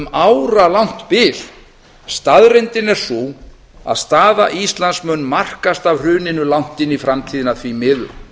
áralangt bil staðreyndin er sú að staða íslands mun markast af hruninu langt inn í framtíðina því miður